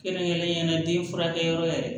Kɛrɛnkɛrɛnnenya la den furakɛyɔrɔ ye